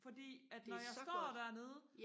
fordi at når jeg står dernede